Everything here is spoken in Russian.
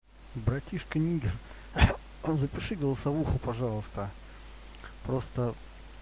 братишка нигер запиши голосовуху пожалуйста просто